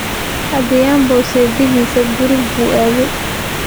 Adhiambo sayidkiisii ​​gurigii buu aaday